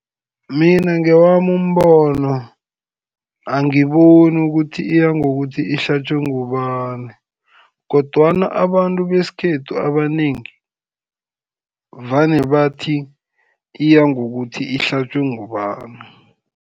Mina ngewami umbono, angiboni ukuthi iya ngokuthi ihlatjwe ngubani, kodwana abantu besikhethu, abanengi vane bathi iya ngokuthi ihlatjwe ngubani.